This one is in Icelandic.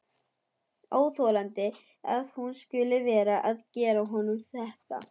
Óþolandi að hún skuli vera að gera honum þetta!